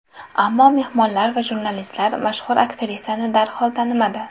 Ammo mehmonlar va jurnalistlar mashhur aktrisani darhol tanimadi.